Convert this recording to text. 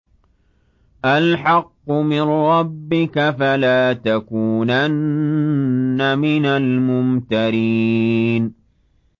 الْحَقُّ مِن رَّبِّكَ ۖ فَلَا تَكُونَنَّ مِنَ الْمُمْتَرِينَ